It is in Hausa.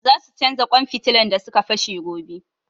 Za su canja ƙwan fitilan da su ka fashe gobe